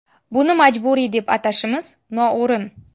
Buni majburiy, deb atashimiz noo‘rin.